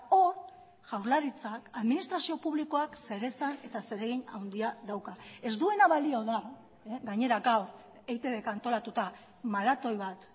hor jaurlaritzak administrazio publikoak zeresan eta zeregin handia dauka ez duena balio da gainera gaur eitbk antolatuta maratoi bat